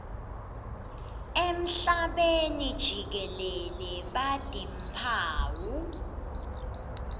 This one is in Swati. emhlabeni jikelele batimphawu